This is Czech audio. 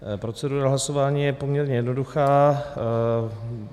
Procedura hlasování je poměrně jednoduchá.